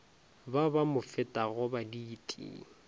ba ba mo fetago baditi